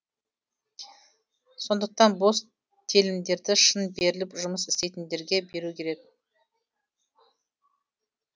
сондықтан бос телімдерді шын беріліп жұмыс істейтіндерге беру керек